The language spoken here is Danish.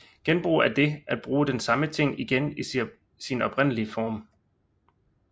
Genbrug er dét at bruge den samme ting igen i sin oprindelige form